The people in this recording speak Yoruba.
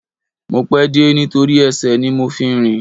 Mo pẹ́ dé nítorí ẹsẹ̀ ni mo fi rìn